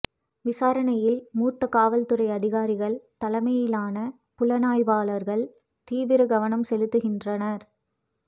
விசாரணையில் மூத்த காவல்துறை அதிகாரிகள் தலைமையிலான புலனாய்வாளர்கள் தீவிர கவனம் செலுத்துகின்றனர்